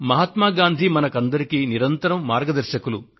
మహాత్మ గాంధీ గారు మనకందరికీ నిరంతరం మార్గదర్శకులు